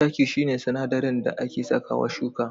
Taki shi ne sinadarin da ake sakawa shuka.